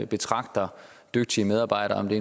betragter dygtige medarbejdere om det